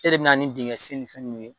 E de bɛna ni dingɛsen ni fɛn ninnu ye